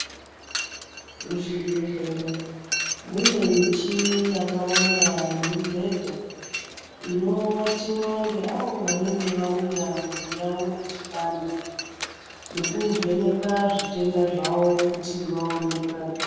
Muzvibhedhlera mune michini yakawanda nemubhedha inowatiwa ngeawo wanenge wauya mwiri yawo ichipanda nekuvheneka zvitenda zvawo kuti waone kurapiwa.